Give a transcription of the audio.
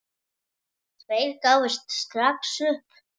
Tveir gáfust strax upp.